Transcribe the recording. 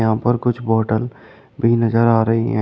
यहां पर कुछ बोटल भी नजर आ रही हैं।